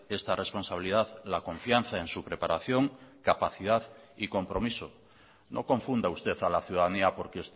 esta responsabilidad la confianza en su preparación capacidad y compromiso no confunda usted a la ciudadanía porque